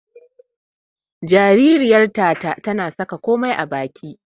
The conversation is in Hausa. Jaririyar Tata tana saka komai a baki.